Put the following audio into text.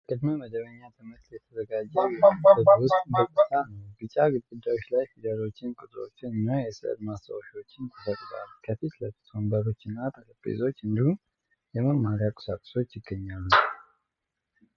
ለቅድመ መደበኛ ትምህርት የተዘጋጀ የክፍል ውስጥ ገጽታ ነው። ቢጫ ግድግዳዎች ላይ ፊደሎችን፣ ቁጥሮችን እና የሥዕል ማስታወሻዎችን ተሰቅለዋል። ከፊት ለፊት ወንበሮችና ጠረጴዛዎች እንዲሁም የመማሪያ ቁሳቁሶች ይገኛሉ።